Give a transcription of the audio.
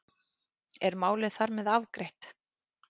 Er málið þar með afgreitt?